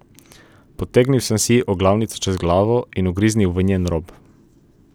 Potegnil sem si oglavnico čez glavo in ugriznil v njen rob.